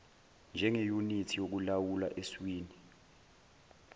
njengeyunithi yokulawula eswini